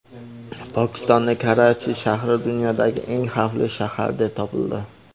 Pokistonning Karachi shahri dunyodagi eng xavfli shahar deb topildi.